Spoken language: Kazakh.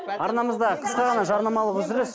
арнамызда қысқа ғана жарнамалық үзіліс